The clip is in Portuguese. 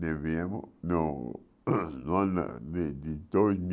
não, no ano de, de dois